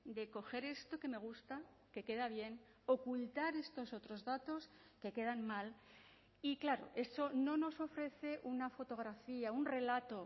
de coger esto que me gusta que queda bien ocultar estos otros datos que quedan mal y claro eso no nos ofrece una fotografía un relato